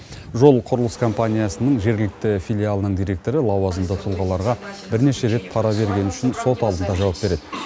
жол құрылыс компаниясының жергілікті филиалының директоры лауазымды тұлғаларға бірнеше рет пара бергені үшін сот алдында жауап береді